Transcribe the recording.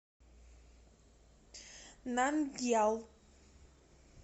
нандьял